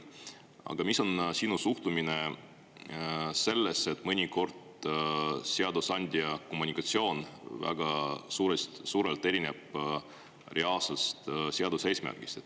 Aga milline on sinu suhtumine sellesse, et mõnikord seadusandja kommunikatsioon väga suurelt erineb reaalsest seaduse eesmärgist.